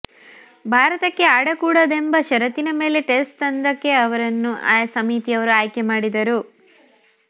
ಭಾರತಕ್ಕೆ ಆಡಕೂಡದೆಂಬ ಷರತ್ತಿನ ಮೇಲೆ ಟೆಸ್ಟ್ ತಂಡಕ್ಕೆ ಅವರನ್ನು ಸಮಿತಿಯವರು ಆಯ್ಕೆ ಮಾಡಿದರು